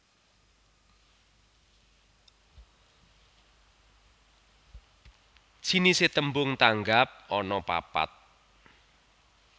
Jinisé tembung tanggap anapapat